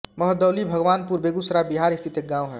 महदौली भगवानपुर बेगूसराय बिहार स्थित एक गाँव है